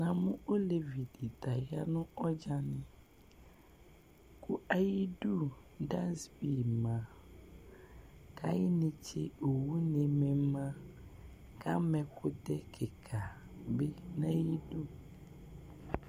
Namʋ olevidi ta ɔyanʋ ɔdzani kʋ ayu idʋ dasbi ma kʋ ayu inetse owʋni ma kʋ ama ɛkʋtɛ kika bi nʋ ayu idʋ